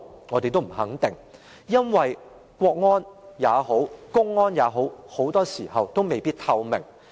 我們也不肯定，因為國安也好，公安也好，其做法很多時候未必透明。